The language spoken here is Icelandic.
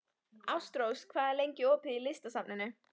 Ástrós, hvað er lengi opið í Listasafninu?